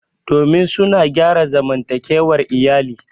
domin suna gyara zamantakewar iyali